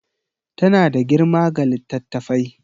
Tana da girma ga littattafai